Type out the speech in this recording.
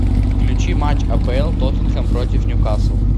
включи матч апл тоттенхэм против ньюкасл